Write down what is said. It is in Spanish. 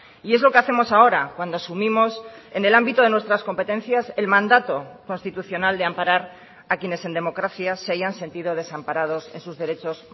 y es lo que hacemos ahora cuando asumimos en el ámbito de nuestras competencias el mandato constitucional de amparar a quienes en democracia se hayan sentido desamparados en sus derechos